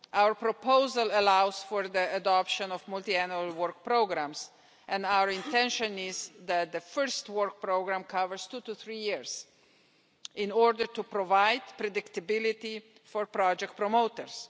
Our proposal allows for the adoption of multi annual work programmes and our intention is that the first work programme covers two to three years in order to provide predictability for project promoters.